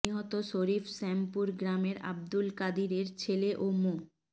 নিহত শরীফ শ্যামপুর গ্রামের আবদুল কাদিরের ছেলে ও মো